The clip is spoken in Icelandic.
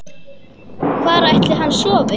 Hvar ætli hann sofi?